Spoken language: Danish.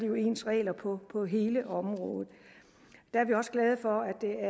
jo ens regler på på hele området der er vi også glade for at det er